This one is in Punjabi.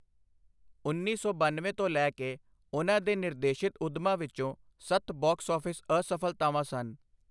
ਉੱਨੀ ਸੌ ਬਨਵੇਂ ਤੋਂ ਲੈ ਕੇ, ਉਹਨਾਂ ਦੇ ਨਿਰਦੇਸ਼ਿਤ ਉੱਦਮਾਂ ਵਿੱਚੋਂ ਸੱਤ ਬਾਕਸ ਆਫਿਸ ਅਸਫ਼ਲਤਾਵਾਂ ਸਨ।